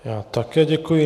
Já také děkuji.